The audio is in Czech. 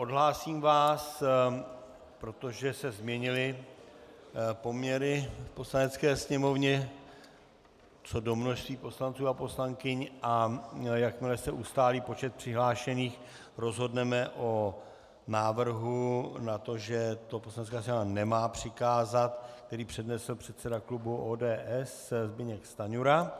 Odhlásím vás, protože se změnily poměry v Poslanecké sněmovně co do množství poslanců a poslankyň, a jakmile se ustálí počet přihlášených, rozhodneme o návrhu na to, že to Poslanecká sněmovna nemá přikázat, který přednesl předseda klubu ODS Zbyněk Stanjura,